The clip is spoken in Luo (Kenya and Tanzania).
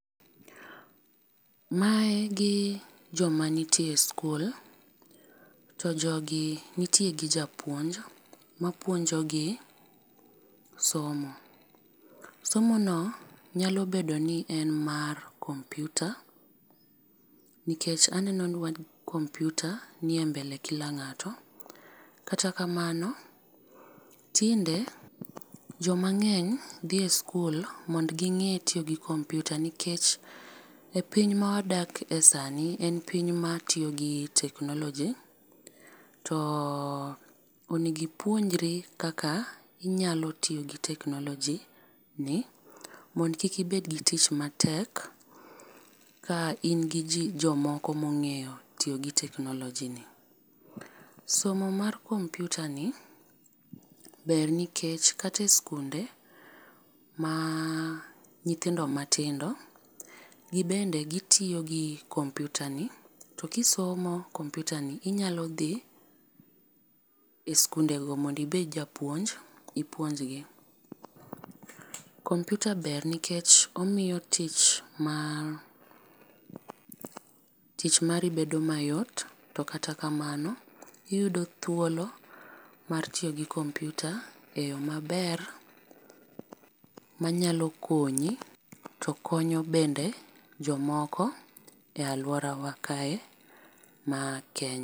Mae gi jo ma nitie e skul to jogi nitie gi japuonj ma puonjo gi somo. Somono nyalo bedo mar kompyuta nikech aneno kompyuta ni e mbele kila ngato. Kata kamano tinde jo ma ng'eny dhi e skul mondo gi ng'e tiyo gi komputyuta nikech piny ma wadak e sani en piny ma tiyo gi teknoloji to onego ipuonjri kaka inyalo tiyo gi teknoloji gi mondo kik ibed gi tich matek ka in gi ji jok moko ma ongeyo tiyo gi teknoloji no. Somo mar kompyuta ni ber nikech kata e sikunde ma nyithindo matindo, gi bende gi tiyo gi kompyuta ni to ki somo kompyuta ni inyalo dhie sikunde go mondo ibed japuonj ipuonj gi. Kompyta ber nikech omiyo tich mar ma tich mari bedo mayot to kata kamano iyudo thuolo mar tiyo gi kompyuta e yo ma ber ma nyalo konyi to konyo bende jo moko e aluora kae mar.